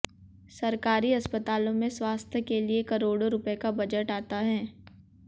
सरकारी अस्पतालों में स्वास्थ्य के लिए करोड़ों रुपए का बजट आता है